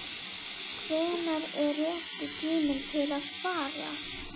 Hvenær er rétti tíminn til að fara?